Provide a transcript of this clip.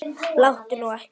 Láttu nú ekki svona